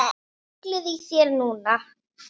Ruglið í þér núna!